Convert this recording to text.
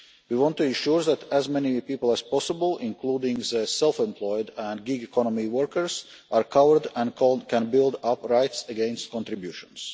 We want to ensure that as many people as possible, including the self employed and gig economy workers, are covered and can build up rights against contributions.